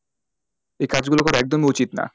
এ কাজ গুলো করা একদমই উচিত না,